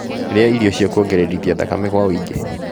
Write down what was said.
Rĩa irio cia kũongererithia thakame kwa wũingĩ